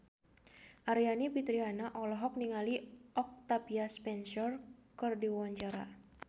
Aryani Fitriana olohok ningali Octavia Spencer keur diwawancara